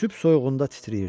Sübh soyuğunda titrəyirdi.